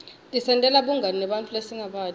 tisentela bungani nebanntfu lesingabati